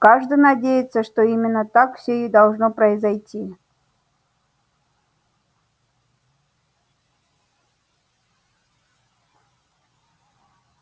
каждый надеется что именно так все и должно произойти